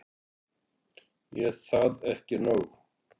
Er það ekki nóg?